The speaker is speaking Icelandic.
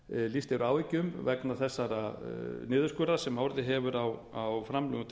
lýst yfir áhyggjum vegna þessa niðurskurðar sem orðið hefur á framlögum til